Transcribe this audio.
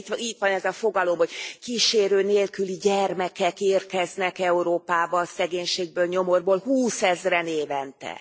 Ugye itt van ez a fogalom, hogy kísérő nélküli gyermekek érkeznek Európába a szegénységből, nyomorból, húszezren évente.